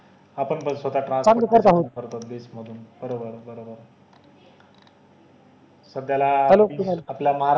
आपण बग स्वतः transport करत आहो तबेस मधून बरोबर बरोबर आहोत सध्याला आपल्या महारा